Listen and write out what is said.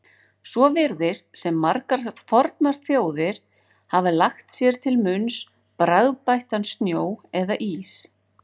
Svo virðist sem margar fornar þjóðir hafi lagt sér til munns bragðbættan snjó eða ís.